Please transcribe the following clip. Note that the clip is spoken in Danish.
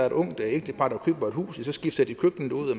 et ungt ægtepar køber et hus så skifter de køkkenet ud og